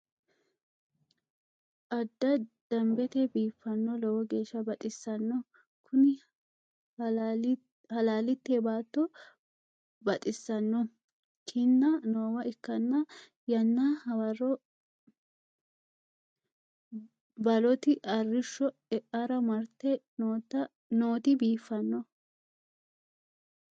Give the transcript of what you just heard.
Adda damibete biifano, lowo geesha baxisano Kuni halalitte baatto baxxisanno kinna, noowa ikkana yanna hawarro baloti arishsho eara maritte nooti biifano